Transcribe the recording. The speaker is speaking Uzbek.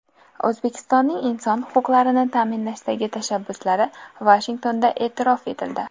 O‘zbekistonning inson huquqlarini ta’minlashdagi tashabbuslari Vashingtonda e’tirof etildi.